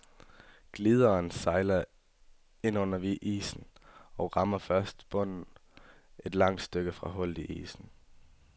Glideren sejler ind under isen, og rammer først bunden et langt stykke fra hullet i isen.